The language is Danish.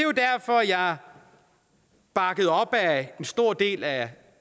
er jeg bakket op af en stor del af